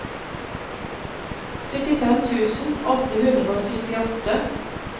syttifem tusen åtte hundre og syttiåtte